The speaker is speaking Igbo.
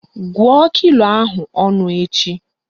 Gụọ kilo ahụ ọnụ echi!